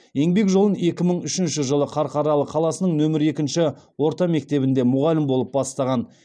еңбек жолын екі мың үшінші жылы қарқаралы қаласының нөмір екінші орта мектебінде мұғалім болып бастаған